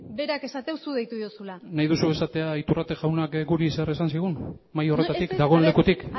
berak esaten du zuk deitu diozula nahi duzu esatea iturrate jaunak guri zer esan zigun mahai horretatik dagoen lekutik